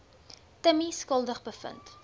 timmie skuldig bevind